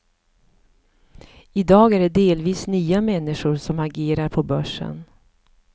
I dag är det delvis nya människor som agerar på börsen.